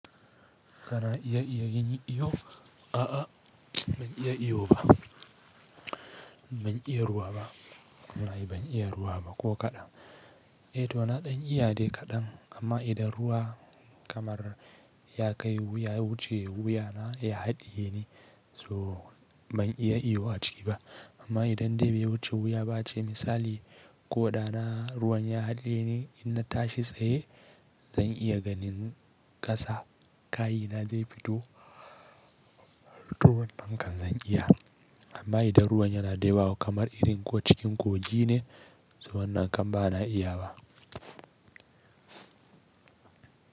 Kana iya iya yin iyo? A'a ban iya iyo ba. Ban iya ruwa ba. Ai ban iya ruwa ba ko kaɗan. Eh to na ɗan iya dai kaɗan amma idan ruwa kamar ya kai wuya ya wuce wuya na ya haɗiye ni so ban iya iyo a ciki ba. Amma idan dai bai wuce wuya ba ce misali ko ɗana ruwan ya haɗiye ni in na tashi tsaye zan iya ganin ƙasa kayina zai fito to wannan kan zan iya. Amma idan ruwan yanada yawa kamar irin ko cikin kogi ne, so wannan kan ba na iyawa.